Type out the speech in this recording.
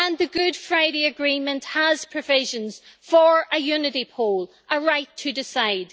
And the Good Friday Agreement has provisions for a unity poll a right to decide.